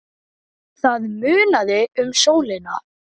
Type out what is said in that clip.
Það munaði um sólina.